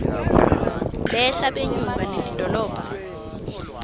behla benyuka nelidolobha